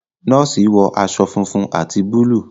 nọọsi wọ aṣọ fúnfún ati Búlúù.